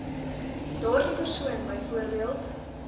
daardie persoon byvoorbeeld